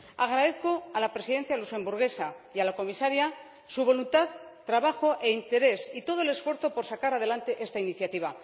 Agradezco a la Presidencia luxemburguesa y a la Comisaria su voluntad, trabajo e interés y todo su esfuerzo por sacar adelante esta iniciativa.